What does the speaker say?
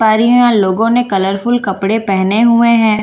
पारियों लोगो ने कलरफुल कपड़े पहने हुए हैं।